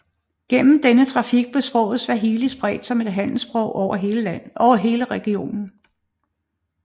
Gennem denne trafik blev sproget swahili spredt som handelssprog over hele regionen